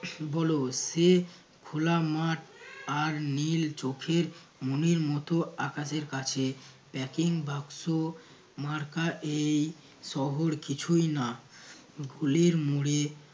হল সে খোলা মাঠ আর নীল চোখে মনের মতো আকাশের কাছে packing বাক্স মার্কা এই শহর কিছুই না ভুলের মোড়ে